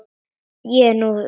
En nú var því lokið.